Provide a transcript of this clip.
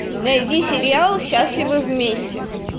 найди сериал счастливы вместе